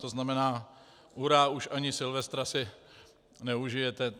To znamená, hurá, už ani Silvestra si neužijete!